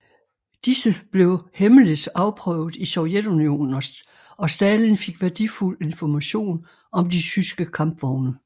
Disse blev hemmeligt afprøvet i Sovjetunionen og Stalin fik værdifuld information om de tyske kampvogne